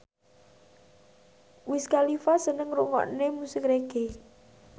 Wiz Khalifa seneng ngrungokne musik reggae